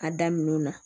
A daminɛw na